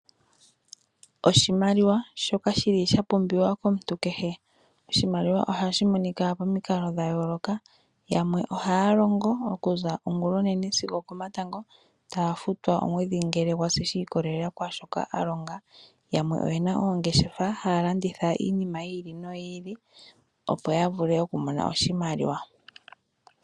Oshimaliwa shoka shili sha pumbiwa komuntu kehe. Oshimaliwa ohashi monika pomikalo dha yooloka yamwe ohaya longo okuza ongulonene sigo okomatango etaya futwa omwedhi ngele gwasi sha i kolelela kwaashoka ya longa. Yamwe oyena oongeshefa haya landitha iinima yi ili noyo ili ya vule oku ninga oshimaliwa.